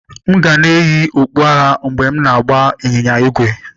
M ga na-eyi okpu agha mgbe m na-agba ịnyịnya ígwè.